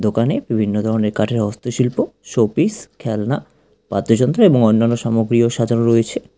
দোকানে বিভিন্ন ধরনের কাঠের হস্তশিল্প শো পিস খেলনা বাদ্যযন্ত্র এবং অন্যান্য সামগ্রীও সাজানো রয়েছে।